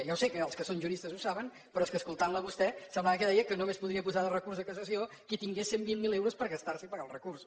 ja ho sé que els que són juristes ho saben però és que escoltant la a vostè semblava que deia que només podria posar recurs de cassació qui tingués cent i vint miler euros per gastar se i pagar el recurs